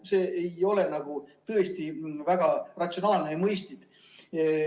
See ei ole tõesti väga ratsionaalne ja mõistlik.